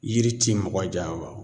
Yiri ti mɔgɔ janfa o